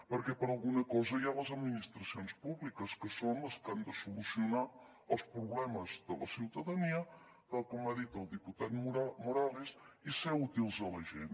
perquè per alguna cosa hi ha les administracions públiques que són les que han de solucionar els problemes de la ciutadania tal com ha dit el diputat morales i ser útils a la gent